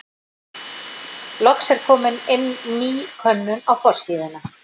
Loks er komin er inn ný könnun á forsíðuna.